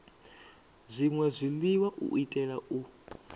zwṅwe zwiḽiwa u itela u